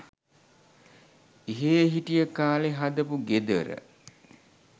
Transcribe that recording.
එහේ හිටිය කාලෙ හදපු ගෙදර